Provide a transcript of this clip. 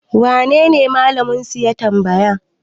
wanene Malaminsu ya tamabaya?